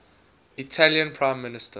italian prime minister